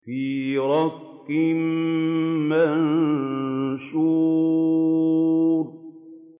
فِي رَقٍّ مَّنشُورٍ